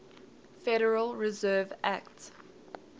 federal reserve act